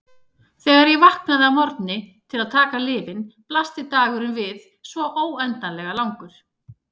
Þegar ég vaknaði að morgni til að taka lyfin blasti dagurinn við svo óendanlega langur.